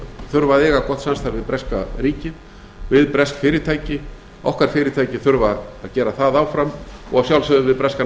þurfa að eiga gott samstarf við breska ríkið við bresk fyrirtæki okkar fyrirtæki þurfa að gera það áfram og